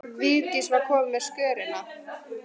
Vigdís var komin fram á skörina.